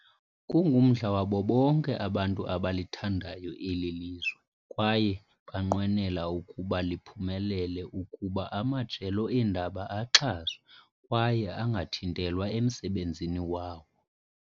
Kungumdla wabo bonke abantu abalithandayo eli lizwe kwaye banqwenela ukuba liphumelele ukuba amajelo eendaba axhaswe, kwaye angathintelwa emsebenzini wawo.